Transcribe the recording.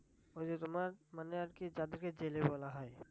ওই যে তোমার মানে আর কি যাদের কে জেলে বলা হয়